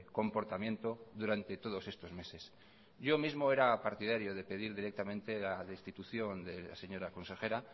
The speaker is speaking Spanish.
comportamiento durante todos estos meses yo mismo era partidario de pedir directamente la destitución de la señora consejera